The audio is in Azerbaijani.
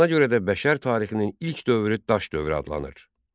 Buna görə də bəşər tarixinin ilk dövrü Daş dövrü adlanır.